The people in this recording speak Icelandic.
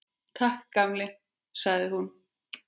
Takk, gamli, sagði hún.